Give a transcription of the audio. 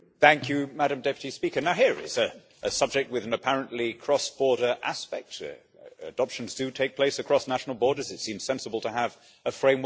Madam President, now here is a subject with an apparently cross border aspect. Adoptions do take place across national borders, and it seems sensible to have a framework.